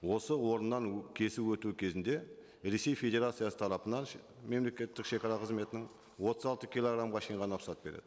осы орыннан кесіп өту кезінде ресей федерациясы тарапынан мемлекеттік шегара қызметінің отыз алты килограммға шейін ғана рұқсат береді